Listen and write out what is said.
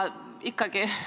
Ka siin on seis 1 : 1.